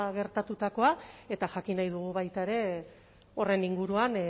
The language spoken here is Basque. gertatutakoa eta jakin nahi dugu baita ere horren inguruan